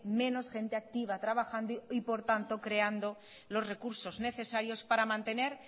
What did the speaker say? menos gente activa trabajando y por tanto creando los recursos necesarios para mantener